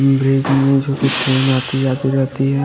Bridge में train जोकि आती जाती रहती है।